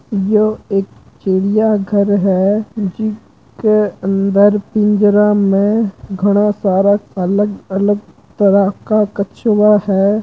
यह एक चिड़िया घर हैं जिसके अंदर पिंजरा में घना सारा अलग-अलग तरह का कछुआ हैं।